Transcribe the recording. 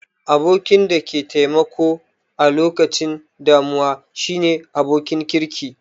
Abokin da ke taimako a lokacin damuwa shine abokin kirki